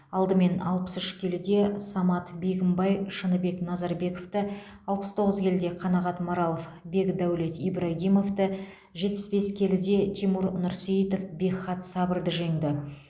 алдымен алпыс үш келіде самат бегімбай шыныбек назарбековті алпыс тоғыз келіде қанағат маралов бекдәулет ибрагимовті жетпіс бес келіде тимур нұрсейітов бекхат сабырды жеңді